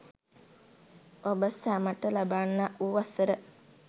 ඔබ සැමට ලබන්නා වූ වසර